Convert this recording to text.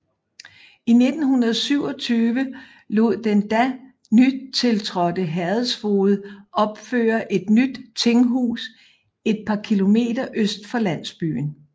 I 1827 lod den da nytiltrådte herredsfoged opføre et nyt tinghus et par km øst for landsbyen